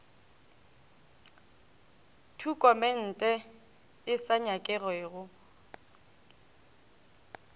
tokumente e sa nyakege mo